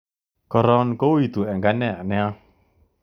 Koron kouitu eng ane nia